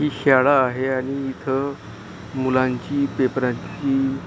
ही शाळा आहे आणि इथं मुलांची पेपराची --